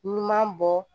Ɲuman bɔ